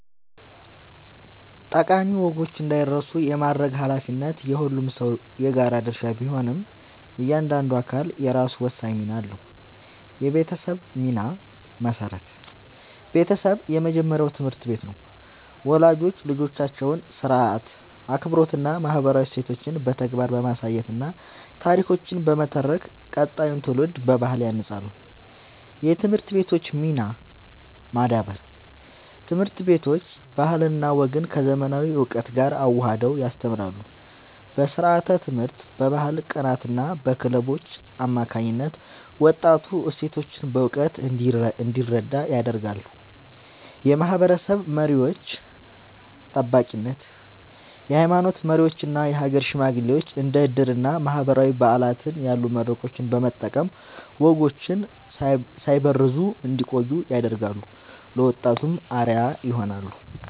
ጠቃሚ ወጎች እንዳይረሱ የማድረግ ኃላፊነት የሁሉም ሰው የጋራ ድርሻ ቢሆንም፣ እያንዳንዱ አካል የራሱ ወሳኝ ሚና አለው፦ የቤተሰብ ሚና (መሠረት)፦ ቤተሰብ የመጀመሪያው ትምህርት ቤት ነው። ወላጆች ልጆቻቸውን ሥርዓት፣ አክብሮትና ማህበራዊ እሴቶችን በተግባር በማሳየትና ታሪኮችን በመተረክ ቀጣዩን ትውልድ በባህል ያንጻሉ። የትምህርት ቤቶች ሚና (ማዳበር)፦ ትምህርት ቤቶች ባህልና ወግን ከዘመናዊ እውቀት ጋር አዋህደው ያስተምራሉ። በስርዓተ-ትምህርት፣ በባህል ቀናትና በክለቦች አማካኝነት ወጣቱ እሴቶቹን በእውቀት እንዲረዳ ያደርጋሉ። የማህበረሰብ መሪዎች (ጠባቂነት)፦ የሃይማኖት መሪዎችና የሀገር ሽማግሌዎች እንደ ዕድርና ማህበራዊ በዓላት ያሉ መድረኮችን በመጠቀም ወጎች ሳይበረዙ እንዲቆዩ ያደርጋሉ፤ ለወጣቱም አርአያ ይሆናሉ።